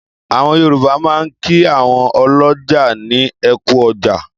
Àwọn Yorùbá máa ń kí àwọn ọlọ́jà ní ẹ kú ọjà.